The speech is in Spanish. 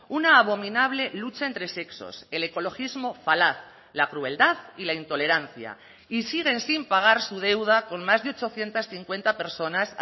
una abominable lucha entre sexos el ecologismo falaz la crueldad y la intolerancia y siguen sin pagar su deuda con más de ochocientos cincuenta personas